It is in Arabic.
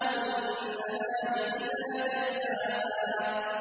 وَالنَّهَارِ إِذَا جَلَّاهَا